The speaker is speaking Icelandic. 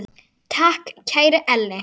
Takk, kæri Elli.